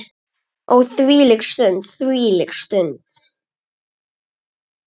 Ó þvílík stund, þvílík stund.